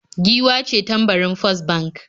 Giwa ce tambarin First Bank